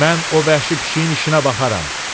Mən o vəhşi pişiyin işinə baxaram.